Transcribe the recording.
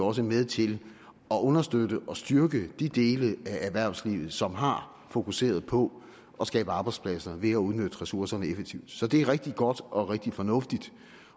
også med til at understøtte og styrke de dele af erhvervslivet som har fokuseret på at skabe arbejdspladser ved at udnytte ressourcerne effektivt så det er rigtig godt og rigtig fornuftigt